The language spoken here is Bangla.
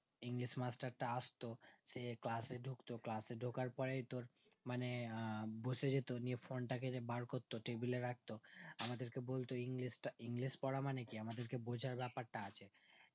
english মাস্টারটা আস্ত সে class এ ঢুকতো class এ ঢুকার পরে তোর মানে আহ বসেযেত নিয়ে phone টাকে যে বারকরতো table রাখতো আমাদেরকে বলতো english টা english পরা মানে কি আমাদেরকে বোঝার বেপারটা আছে